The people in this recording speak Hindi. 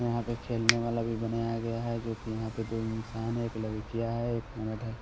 यहां पे खेलने वाला भी बनाया गया है जो कि यहां पे दो इंसान है एक लड़कीयां है एक है।